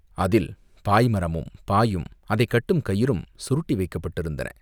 அதில் பாய் மரமும் பாயும் அதைக் கட்டும் கயிறும் சுருட்டி வைக்கப்பட்டிருந்தன.